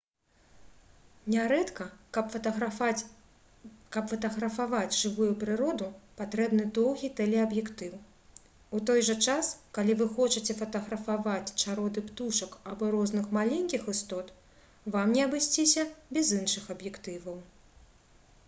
нярэдка каб фатаграфаваць жывую прыроду патрэбны доўгі тэлеаб'ектыў у той жа час калі вы хочаце фатаграфаваць чароды птушак або розных маленькіх істот вам не абысціся без іншых аб'ектываў